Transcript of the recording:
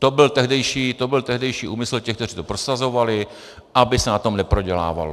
To byl tehdejší úmysl těch, kteří to prosazovali, aby se na tom neprodělávalo.